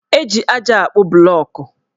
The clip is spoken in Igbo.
Eji aja akpụ blọọkụ